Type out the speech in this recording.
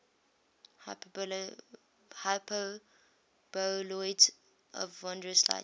hyperboloids of wondrous light